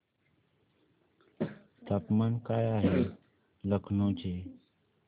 तापमान काय आहे लखनौ चे